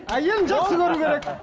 әйелін жақсы көруі керек